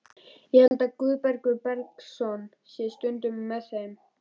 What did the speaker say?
Ég held að Guðbergur Bergsson sé stundum með þeim.